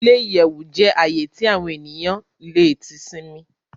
Ile-iyẹwu jẹ ààyè tí awọn eniyan tí le sinmi